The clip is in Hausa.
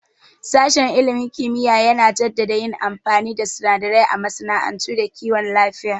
Sashen ilimin kimiyya yana jaddada yin amfani da sunadarai a masana'antu da kiwon lafiya